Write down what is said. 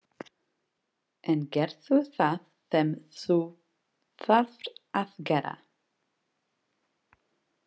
En gerðu það sem þú þarft að gera.